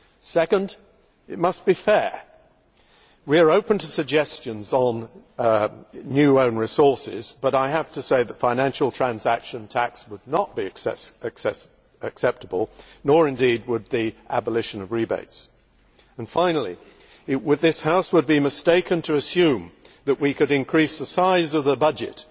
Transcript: Second, it must be fair we are open to suggestions on new own resources, but I have to say that a financial transaction tax would not be acceptable, nor indeed would the abolition of rebates. Finally, this House would be mistaken to assume that we could increase the size of the budget